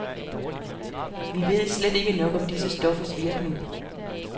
Vi ved slet ikke nok om disse stoffers virkning.